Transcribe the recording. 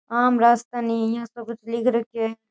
आम रास्ता नहीं है ऐसो कुछ लिख रखयो है।